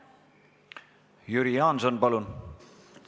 Jüri Jaanson, palun!